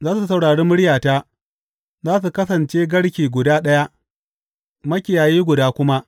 Za su saurari muryata, za su kasance garke guda ɗaya, makiyayi guda kuma.